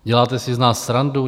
Děláte si z nás srandu?